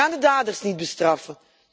We gaan de daders niet bestraffen.